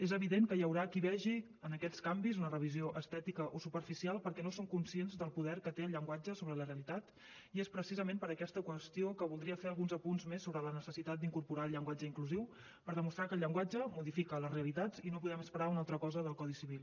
és evident que hi haurà qui vegi en aquests canvis una revisió estètica o superficial perquè no són conscients del poder que té el llenguatge sobre la realitat i és precisament per aquesta qüestió que voldria fer alguns punts més sobre la necessitat d’incorporar el llenguatge inclusiu per demostrar que el llenguatge modifica les realitats i no podem esperar una altra cosa del codi civil